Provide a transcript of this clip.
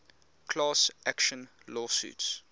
class action lawsuits